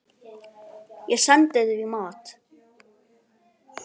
Ég sendi því mat.